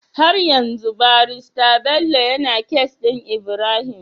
Har yanzu barista Bello yAna case din Ibrahim?